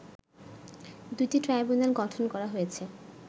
দুটি ট্রাইব্যুনাল গঠন করা হয়েছে